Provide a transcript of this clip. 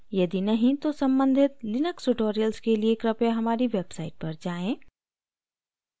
यदि नहीं तो सम्बंधित लिनक्स tutorials के लिए कृपया हमारी website पर जाएँ